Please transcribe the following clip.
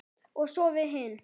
Og svo við hin.